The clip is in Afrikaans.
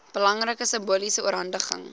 belangrike simboliese oorhandiging